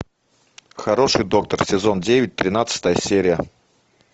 хороший доктор сезон девять тринадцатая серия